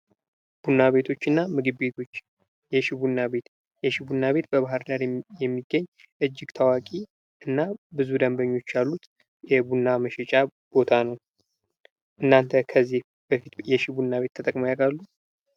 "ቡና ቤቶችና ምግብ ቤቶች, የሺ ቡና ቤት ፤የሺ ቡና ቤት በባህርዳር የሚገኝ እጅግ ታአዋቂና ብዙ ደንበኞች ያሉት የቡና መሸጫ ቦታ ነው። እናንተ ከዚህ በፊት የሺ ቡና ቤት ተጠቅመው ያውቃሉ?"